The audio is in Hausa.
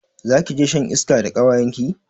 Zakije shan iska da kawayenki?